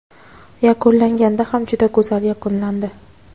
Yakunlanganda ham juda go‘zal yakunlandi.